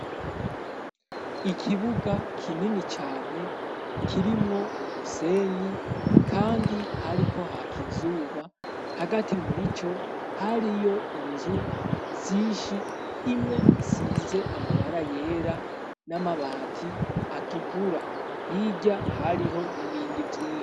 Ikibuga kinini cane kirimwo umusenyi kandi hariko haka izuba hagati muri co hariyo inzu sishi imwe isize amabara yera n'amabati atukura hijya hariho n'ibindi vyinshi.